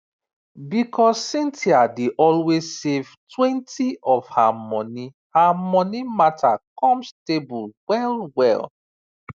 because cynthia dey always savetwentyof her moni her money matter come stable well well